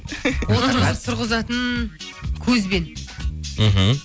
отырғызып тұрғызатын көзбен мхм